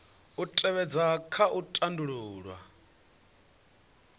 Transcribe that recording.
u tevhedzwa kha u tandulula